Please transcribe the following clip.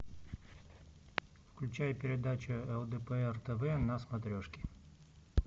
включай передачу лдпр тв на смотрешке